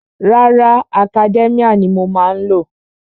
Rárá, Academia ni mo má ń lò.